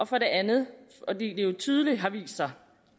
for det andet har det jo tydeligt vist sig